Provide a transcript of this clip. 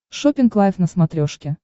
шоппинг лайф на смотрешке